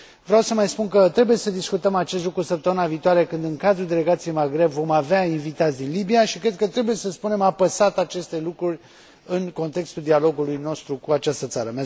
Vreau să mai spun că trebuie să discutăm acest lucru săptămâna viitoare, când, în cadrul Delegației Maghreb, vom avea invitați din Libia și cred că trebuie să spunem apăsat aceste lucruri, în contextul dialogului nostru cu această țară.